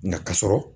Nka ka sɔrɔ